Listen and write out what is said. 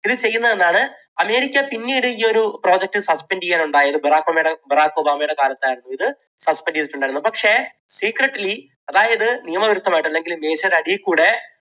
ഇത് ചെയ്യുന്നത് എന്നാണ് അമേരിക്ക പിന്നീട് ഈ ഒരു project suspend ചെയ്യുകയാണുണ്ടായത്. ബറാക് ഒബാമയുടെ ബറാക് ഒബാമയുടെ കാലത്തായിരുന്നു ഇത് suspend ചെയ്തിട്ടുണ്ടായിരുന്നത്. പക്ഷെ secretly അതായത് നിയമവിരുദ്ധമായിട്ട് അല്ലെങ്കിൽ മേശയുടെ അടിയിൽ കൂടെ